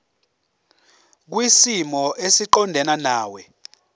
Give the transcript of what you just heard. kwisimo esiqondena nawe